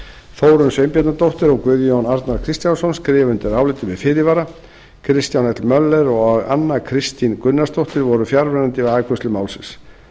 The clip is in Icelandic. þórunn sveinbjarnardóttir og guðjón a kristjánsson skrifa undir álitið með fyrirvara kristján l möller og anna kristín gunnarsdóttir voru fjarverandi við afgreiðslu málsins